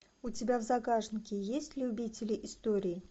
у тебя в загашнике есть любители истории